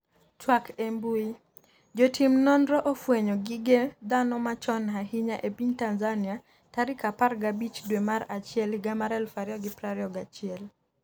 twak e mbui, Jotim nonro ofwenyo gige dhano machon ahinya e piny Tanzania tarik 15 dwe mar achiel higa mar 2021